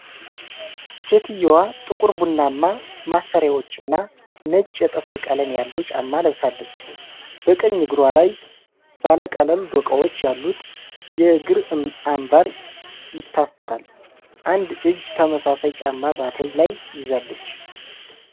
ሴትየዋ ጥቁር ቡናማ ማሰሪያዎችና ነጭ የጥፍር ቀለም ያለው ጫማ ለብሳለች። በቀኝ እግሯ ላይ ባለ ቀለም ዶቃዎች ያሉት የእግር አንባር ይታሰራል። አንድ እጅ ተመሳሳይ ጫማ በትሪ ላይ ይዛለች።